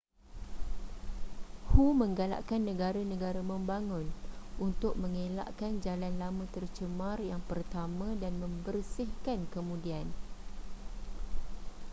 hu menggalakkan negara-negara membangun untuk mengelakkan jalan lama tercemar yang pertama dan membersihkan kemudian